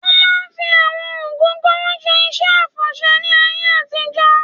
Wọ́n máa ń fi àwọn ògógóró ṣe iṣẹ́ àfọ̀ṣẹ́ ní ayé àtijọ́